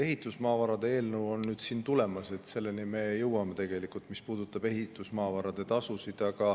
Ehitusmaavarade eelnõu on tulemas, me jõuame ka selleni, mis puudutab ehitusmaavarade tasusid.